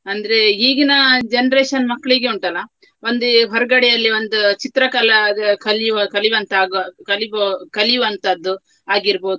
ಅಂದ್ರೆ ಈಗಿನ generation ಮಕ್ಳಿಗೆ ಉಂಟಲ್ಲ ಒಂದೇ ಹೊರಗಡೆಯಲ್ಲಿ ಒಂದು ಚಿತ್ರಕಲಾ ಅದು ಕಲಿಯುವ ಕಲಿಯುವಂತಾಗುವ ಕಲಿಬೊ~ ಕಲಿಯುವಂತದ್ದು ಆಗಿರ್ಬೋದು.